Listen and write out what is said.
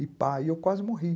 E pá, e eu quase morri.